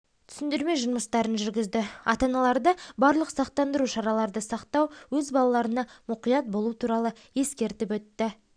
түсіндірме жұмыстарын жүргізді ата-аналарды барлық сақтандыру шараларды сақтау өз балаларына мұқият болу туралы ескертіп өтті